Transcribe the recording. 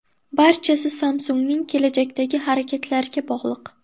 Barchasi Samsung‘ning kelajakdagi harakatlariga bog‘liq.